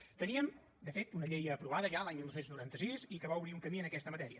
teníem de fet una llei aprovada ja l’any dinou noranta sis i que va obrir un camí en aquesta matèria